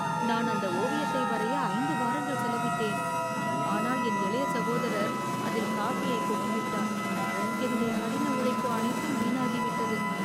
நான் அந்த ஓவியத்தை வரைய 5 வாரங்கள் செலவிட்டேன், ஆனால் என் இளைய சகோதரர் அதில் காபியைக் கொட்டிவிட்டார். என்னுடைய கடின உழைப்பு அனைத்தும் வீணாகிவிட்டது.